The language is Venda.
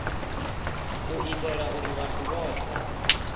u itela uri vhathu vhothe